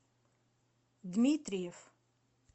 дмитриев